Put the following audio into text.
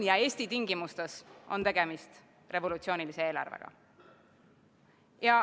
Eesti tingimustes on tegemist revolutsioonilise eelarvega.